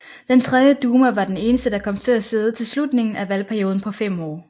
Den tredje duma var den eneste der kom til at sidde til slutningen af valgperioden på fem år